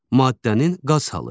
Maddənin qaz halı.